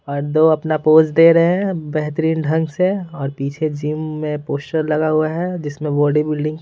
और दो अपना पोज दे रहे हैं बेहतरीन ढंग से और पीछे जिम में पोस्टर लगा हुआ है जिसमें बॉडी बिल्डिंग --